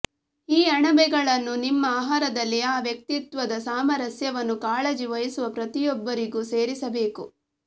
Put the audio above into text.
ಈ ಅಣಬೆಗಳನ್ನು ನಿಮ್ಮ ಆಹಾರದಲ್ಲಿ ಆ ವ್ಯಕ್ತಿತ್ವದ ಸಾಮರಸ್ಯವನ್ನು ಕಾಳಜಿ ವಹಿಸುವ ಪ್ರತಿಯೊಬ್ಬರಿಗೂ ಸೇರಿಸಬೇಕು